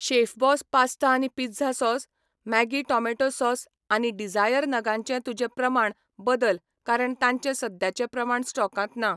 Chef Boss pasta आनी pizza sauce, Maggi tomato sauce आनी desire नगांचें तुजें प्रमाण बदल कारण तांचे सद्याचे प्रमाण स्टॉकांत ना.